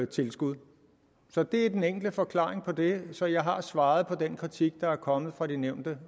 tilskud det er den enkle forklaring på det så jeg har svaret på den kritik der er kommet fra de nævnte